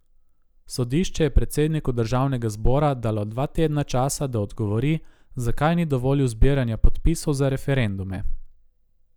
Sodišče je predsedniku državnega zbora dalo dva tedna časa, da odgovori, zakaj ni dovolil zbiranja podpisov za referendume.